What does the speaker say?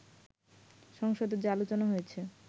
সংসদে যে আলোচনা হয়েছে